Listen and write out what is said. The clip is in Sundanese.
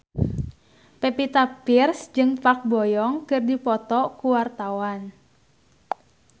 Pevita Pearce jeung Park Bo Yung keur dipoto ku wartawan